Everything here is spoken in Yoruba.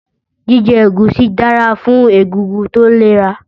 Jíjẹ ẹ̀gúsí dára fún egungun tó lera